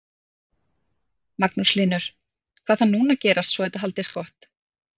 Magnús Hlynur: Hvað þarf núna að gerast svo þetta haldist gott?